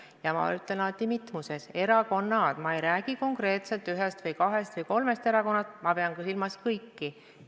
Ja ma olen alati öelnud mitmuses: "erakonnad", ma ei räägi konkreetselt ühest või kahest või kolmest erakonnast, ma pean silmas kõiki.